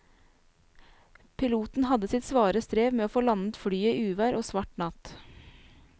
Piloten hadde sitt svare strev med å få landet flyet i uvær og svart natt.